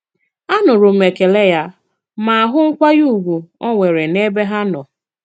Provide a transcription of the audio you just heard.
Anùrụ m ekèlè ya ma hụ nkwànyè ùgwù ò nwere n'ebe ha nọ.